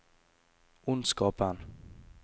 ondskapen